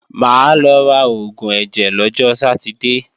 Máa lọ ra oògùn ẹ̀jẹ̀ lọ́jọ Sátidée